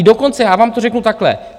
I dokonce já vám to řeknu takhle.